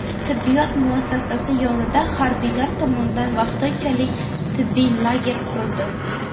Tibbiyot muassasasi yonida harbiylar tomonidan vaqtinchalik tibbiy lager qurildi.